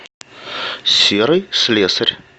серый слесарь